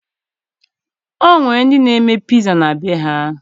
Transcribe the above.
O nwere ndị na-eme piza na be ha